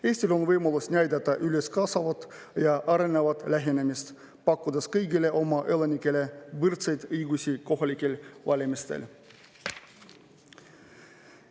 Eestil on võimalus näidata üles kaasavat ja arenevat lähenemist, pakkudes kõigile oma elanikele võrdseid õigusi kohalikel valimistel.